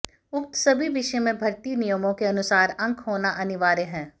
उक्त सभी विषय में भर्ती नियमों के अनुसार अंक होना अनिवार्य है